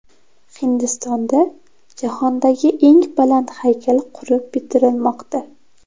Hindistonda jahondagi eng baland haykal qurib bitirilmoqda.